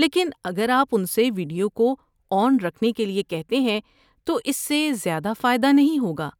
لیکن اگر آپ ان سے ویڈیو کو آن رکھنے کے لیے کہتے ہیں تو اس سے زیادہ فائدہ نہیں ہوگا۔